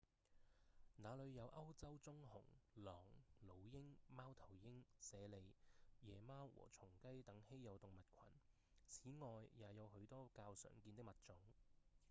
那裡有歐洲棕熊、狼、老鷹、貓頭鷹、猞猁、野貓和松雞等稀有動物群此外也有許多較常見的物種